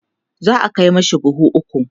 za'a Kai mashi buhu ukwu